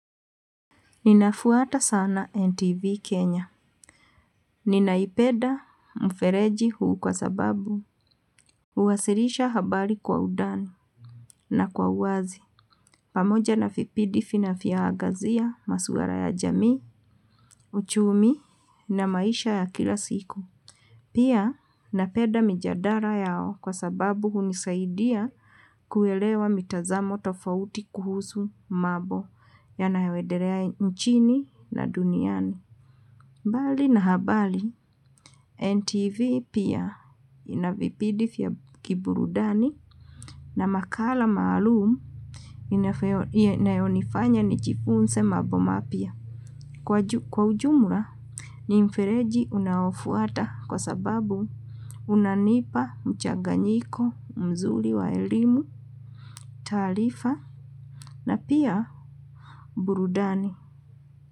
Ninafuata sana NTV Kenya. Ninaipenda mfereji huu kwa sababu, huwasilisha habari kwa udani na kwa uwazi. Pamoja na vipindi vinavyoangazia, masuala ya jamii, uchumi na maisha ya kila siku. Pia, napenda mjadala yao kwa sababu hunisaidia kuelewa mitazamo tofauti kuhusu mambo yanaenedelea nchini na duniani. Mbali na habari, NTV pia ina vipindi vya kiburudani na makala maalum inayonifanya nijifunze mambo mapya. Kwa ujumla, ni mfereji unaofuata kwa sababu unanipa mchaganyiko mzuri wa elimu, taarifa na pia burudani.